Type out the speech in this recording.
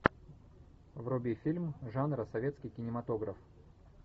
вруби фильм жанра советский кинематограф